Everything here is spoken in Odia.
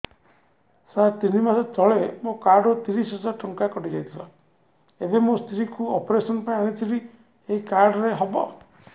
ସାର ତିନି ମାସ ତଳେ ମୋ କାର୍ଡ ରୁ ତିରିଶ ହଜାର ଟଙ୍କା କଟିଯାଇଥିଲା ଏବେ ମୋ ସ୍ତ୍ରୀ କୁ ଅପେରସନ ପାଇଁ ଆଣିଥିଲି ଏଇ କାର୍ଡ ରେ ହବ